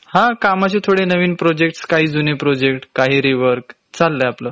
हा.. कामाचे थोडे नवीन प्रोजेक्टस, काही जुने प्रोजेक्ट, काही रीवर्क, चाललंय आपल.